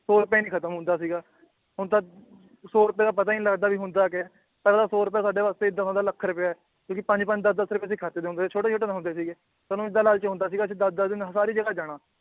ਸੌ ਰੁਪਏ ਨੀ ਖਤਮ ਹੁੰਦਾ ਸੀਗਾ ਹੁਣ ਤਾਂ ਸੌ ਰੁਪਏ ਦਾ ਪਤਾ ਈ ਨੀ ਲਗਦਾ ਹੁੰਦਾ ਕਯਾ ਏ ਪਹਿਲਾਂ ਸੌ ਰੁਪਏ ਸਾਡੇ ਵਾਸਤੇ ਏਦਾਂ ਹੁੰਦਾ ਲੱਖ ਰੁਪਯਾ ਏ ਕਿਉਕਿ ਪੰਜ ਪੰਜ ਦੱਸ ਦੱਸ ਰੁਪਏ ਦੇ ਦੇ ਹੁੰਦੇ ਸ ਛੋਟੇ ਛੋਟੇ ਤਾਂ ਹੁੰਦੇ ਸੀਗੇ ਸਾਨੂ ਏਦਾਂ ਲਾਲਚ ਹੁੰਦਾ ਸੀਗਾ ਜਿਦਾਂ ਅੱਧਾ ਦਿਨ ਸਾਰੀ ਜਗਾਹ ਜਾਨਾਂ